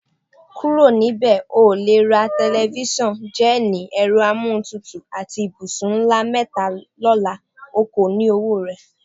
Kúrò̩ níbè̩! O ò lè ra te̩lifís̩àn, jé̩è̩nì, è̩ro̩ amúlétutù àti ibùsùn ńlá mé̩ta ló̩la; o kò ní owó rè̩.